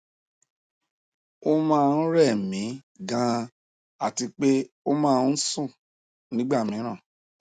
ó máa ń rẹ mí ganan àti pé ó máa ń sùn nígbà mìíràn